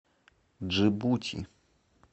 джибути